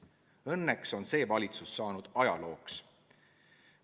Õnneks on see valitsus ajalooks saanud.